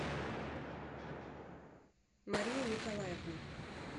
марию николаевну